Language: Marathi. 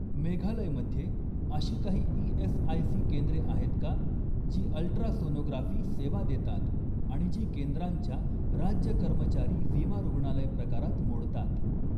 मेघालय मध्ये अशी काही ई.एस.आय.सी केंद्रे आहेत का जी अल्ट्रासोनोग्राफी सेवा देतात आणि जी केंद्रांच्या राज्य कर्मचारी विमा रुग्णालय प्रकारात मोडतात?